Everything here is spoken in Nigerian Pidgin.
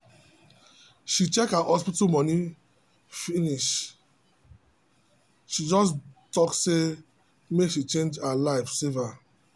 she check her hospital money finish she just talk say make she change her life saver